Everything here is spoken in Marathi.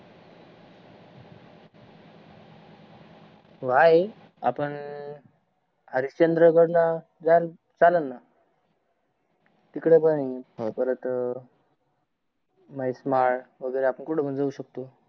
हो आहे आपण हरिषचंद्रगड ला चालल ना तिकड पण आहे परत महेश माड वगेरे आपण कुठे पण जाऊ शकतो न